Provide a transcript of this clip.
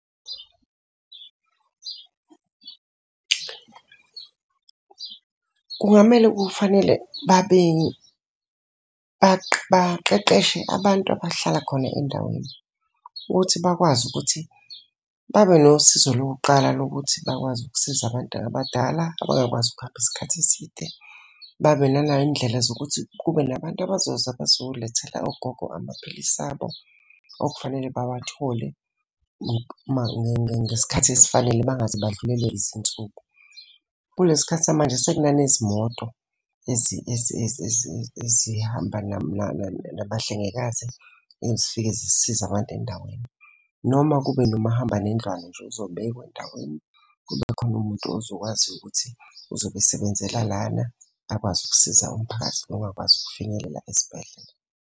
Kungamele kufanele baqeqeshe abantu abahlala khona endaweni, ukuthi bakwazi ukuthi babe nosizo lokuqala lokuthi bakwazi ukusiza abantu abadala abangakwazi ukuhamba isikhathi eside. Babe naney'ndlela zokuthi kube nabantu abazoza bazolethela ogogo amaphilisi abo okufanele bawathole ngesikhathi esifanele bangaze badlulelwe izinsuku. Kulesi sikhathi samanje sekunane zimoto ezihamba nabahlengikazi, ezifike zisize abantu endaweni. Noma kube nomahambanendlwane nje ozobekwa endaweni kube khona umuntu ozokwazi ukuthi uzobe esebenzela lana akwazi ukusiza umphakathi ongakwazi ukufinyelela esibhedlela.